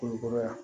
Koli kɔrɔ yan